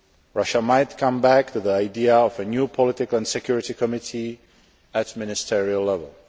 Russia might come back to the idea of a new Political and Security Committee at ministerial level.